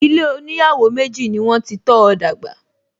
Ilé oníyàwó méjì ni wọ́n ti tọ́ọ dàgbà